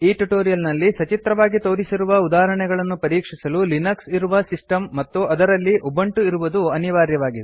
ಈ ಟ್ಯುಟೋರಿಯಲ್ ನಲ್ಲಿ ಸಚಿತ್ರವಾಗಿ ತೋರಿಸಿರುವ ಉದಾಹರಣೆಗಳನ್ನು ಪರೀಕ್ಷಿಸಲು ಲಿನಕ್ಸ್ ಇರುವ ಸಿಸ್ಟಮ್ ಮತ್ತು ಅದರಲ್ಲಿ ಉಬುಂಟು ಇರುವುದು ಅನಿವಾರ್ಯವಾಗಿದೆ